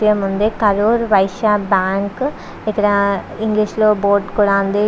ఎం ఉంది కరూర్ వైశ్యా బ్యాంకు ఇక్కడ ఇంగ్లీష్ లో బోర్డు ఉంది.